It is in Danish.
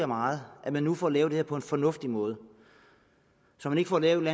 meget at man nu får lavet det her på en fornuftig måde så man ikke får lavet